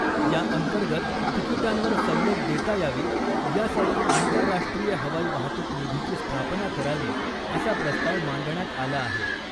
याअंतर्गत तिकीटांवर सवलत देता यावी यासाठी आंतरराष्ट्रीय हवाई वाहतूक निधीची स्थापना करावी असा प्रस्ताव मांडण्यात आला आहे .